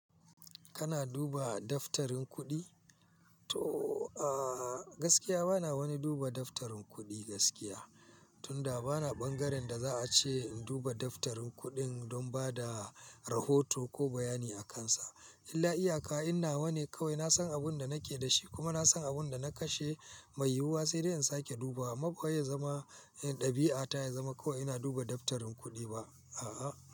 Kana duba daftarin kuɗi? To, a gaskiya bana wani duba daftarin kuɗi gaskiya. Tunda bana ɓangaren da za a ce in duba daftarin kuɗin don ba da rahoto ko bayani a kansa. Illa iyaka in na wane kawai na san abin da nake da shi kuma na san abin da na kashe mai yiwuwa sai dai in sake duba. Amma ba ya zama ɗabi'ata ya zama kawai ina duba daftarin kuɗi ba, a'a.